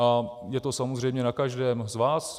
A je to samozřejmě na každém z vás.